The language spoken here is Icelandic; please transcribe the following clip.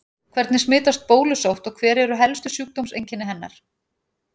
Hvernig smitast bólusótt og hver eru helstu sjúkdómseinkenni hennar?